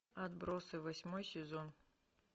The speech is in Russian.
отбросы восьмой сезон